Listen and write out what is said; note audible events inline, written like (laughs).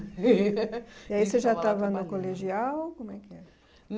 (laughs) E aí você já estava no colegial? Como é que era